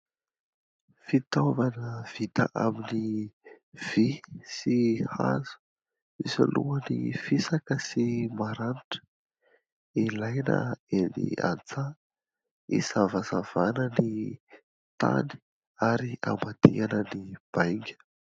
Fitaovana vita amin'ny vy sy hazo misy lohany fisaka sy maranitra ; ilaina eny antsaha isavasavana ny tany ary amadihana ny bainga.